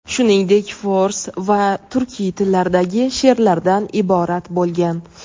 shuningdek fors va turkiy tillardagi she’rlardan iborat bo‘lgan.